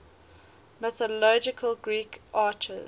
mythological greek archers